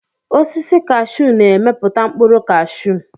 Osisi kashiu na-emepụta mkpụrụ kashiu.